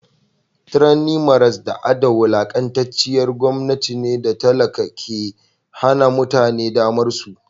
tranny maras da a da wulakantacciyar gomnati ne datake ke Hana mutane damarsu